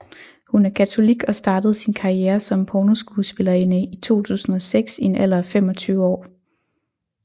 Hun er katolik og startede sin karriere som pornoskuespillerinde i 2006 i en alder af 25 år